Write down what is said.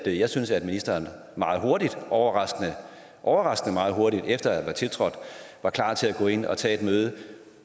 at jeg synes ministeren meget hurtigt overraskende overraskende hurtigt efter at være tiltrådt var klar til at gå ind og tage et møde